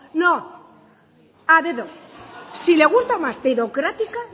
no a dedo si le gusta más dedocrática